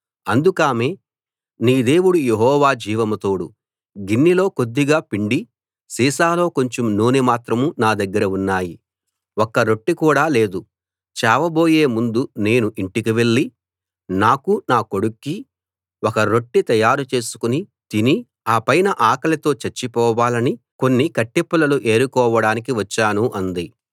అందుకామె నీ దేవుడు యెహోవా జీవం తోడు గిన్నెలో కొద్దిగా పిండి సీసాలో కొంచెం నూనె మాత్రం నా దగ్గర ఉన్నాయి ఒక్క రొట్టె కూడా లేదు చావబోయే ముందు నేను ఇంటికి వెళ్లి నాకూ నా కొడుక్కీ ఒక రొట్టె తయారు చేసుకుని తిని ఆపైన ఆకలితో చచ్చి పోవాలని కొన్ని కట్టెపుల్లలు ఏరుకోడానికి వచ్చాను అంది